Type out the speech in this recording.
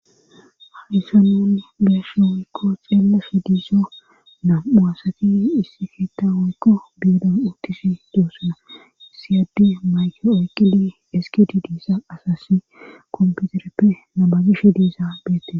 Hadissa nun biyashe woykko xeelefe diiso nam'u asati issi fiitta woykko beedon uttisi doossana issiyadde mayke oykidi eskidi diisa asasi komputereppe namazishe diiza beette.